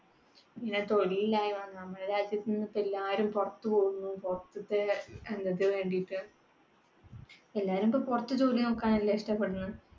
പിന്നെ തൊഴിലില്ലായ്‌മ. നമ്മുടെ രാജ്യത്തിൽനിന്നു ഇപ്പൊ എല്ലാവരും പുറത്തു പോകുന്നു. പുറത്തുതെ വേണ്ടിയിട്ട്. എല്ലാവരും ഇപ്പൊ പുറത്തു ജോലി നോക്കാനല്ലേ ഇഷ്ടപ്പെടുന്നത്